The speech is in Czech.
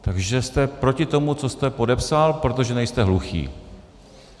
Takže jste proti tomu, co jste podepsal, protože nejste hluchý.